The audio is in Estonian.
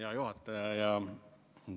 Hea juhataja!